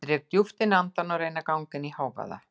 Ég dreg djúpt inn andann og reyni að ganga inn í hávaða